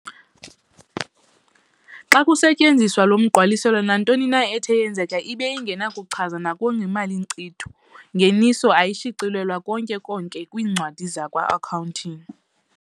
Xa kusetyenziswa lo mgqaliselo, nantonina ethe yenzeka ibe ingenakuchazwa ngokwemali Nkcitho-Ngeniso, ayishicilelwa konke-konke kwiincwadi zakwa-Accounting.